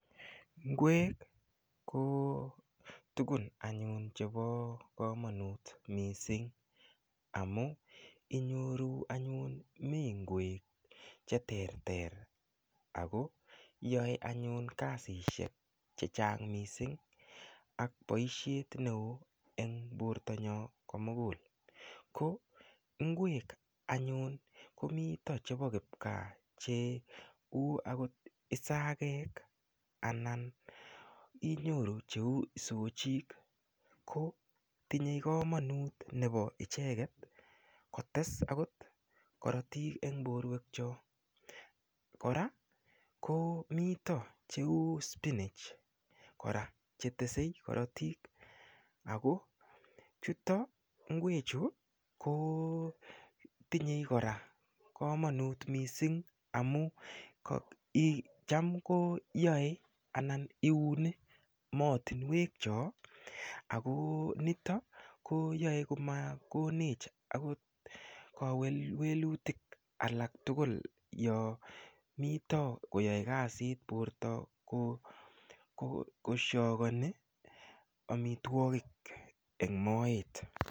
Ingwek ko tukun anyun chebo komanut mising anyun amun inyiru anyun mi ingwek che terter ako yaei anyun kasisiek che chang mising ak boishet neo eng portayok komugul. Ko ingwek anyun komito chebo kiogaa cheu akot isagek, anan inyoru cheu isochik, ko tinyei komonut nebo icheket kotes akot korotik eg porwekchik. Kora ko mito cheu spinach kora chetesei koritik. Kora ingwechu, kotinyei kora komonut mising amu cham koyoei anan iuni moatinwek chok ako nitok kiyaei komakone h akot kewelwelutik alak tugul yo mito koyaei kasit porto ko shokoni amitwagik eng moet.